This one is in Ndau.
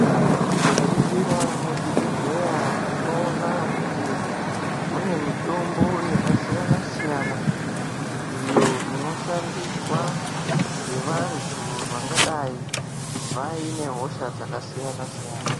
Tikaringira muzvibhehleya tinoona kuti mune mitombo yakasiyana-siyana iyo inoshandiswa ngevantu vangadai vaine hosha dzakasiyana-siyana.